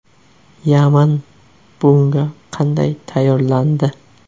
Yaman bunga qanday tayyorlandi?